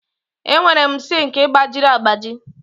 Enwere m sink gbajiri agbaji.